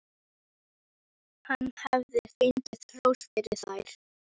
Ég meina af því mig hefur aldrei dreymt neitt.